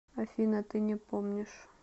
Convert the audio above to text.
афина ты не помнишь